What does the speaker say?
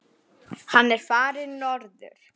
Hann er farinn norður.